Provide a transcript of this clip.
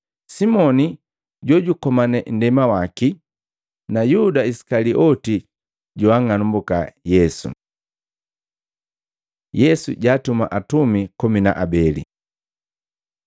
Simoni jojukomane nndema waki na Yuda Isikalioti joang'anumbuka Yesu. Yesu jaatuma atumi komi na abeli Maluko 6:7-13; Luka 9:1-6